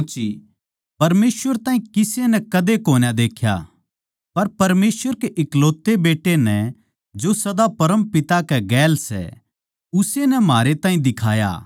परमेसवर ताहीं किसे नै कदे कोन्या देख्या पर परमेसवर के इकलौते बेट्टे नै जो सदा परमपिता कै गेल सै उस्से नै म्हारे ताहीं दिखाया